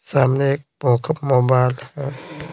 सामने एक प मोबाइल है।